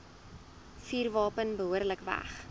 vuurwapen behoorlik weg